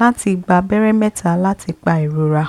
láti gba abẹ́rẹ́ mẹ́ta láti pa ìrora